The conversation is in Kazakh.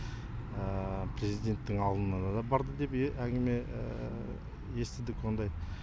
президенттің алдына да барды деп әңгіме естідік ондай